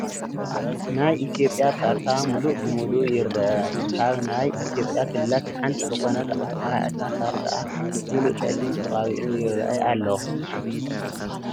ናይ ኢ/ያ ካርታ ሙሉእ ብሙሉእ ይረአ፡፡ ካብ ናይ ኢ/ያ ክልላት ሓንቲ ዝኾነት ኣምሓራ እቲ ካርታኣ ሙሉእ ፀሊም ተቐቢኡ ይራኣይ ኣሎ፡፡